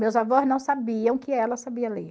Meus avós não sabiam que ela sabia ler.